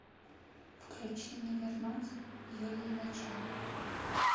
включи не вернуть юлии началовой